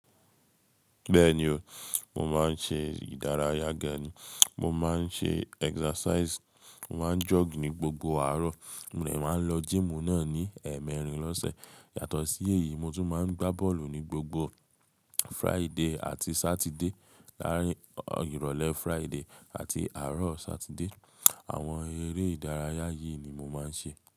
Bẹ́ẹ̀ni o, mo máa ń ṣe ìdárayá gani. Mo máa ń ṣe idaraya mo máa ń sare ní gbogbo àárọ̀, mo lè máa ń lọ si ile idaraya náà ní ẹ mẹrin lọ́sẹ̀. Yàtọ̀ sí èyí, mo tún máa ń gbá bọ́ọ̀lù ní gbogbo ojo eti àti ojo abameta, láàárín ìrọ̀lẹ́ ojo eti àti àárọ̀ ojo abameta. Àwọn eré ìdárayá yìí ni mo máa ń ṣe.